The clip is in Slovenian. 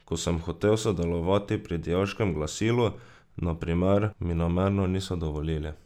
Ko sem hotel sodelovati pri dijaškem glasilu, na primer, mi namerno niso dovolili.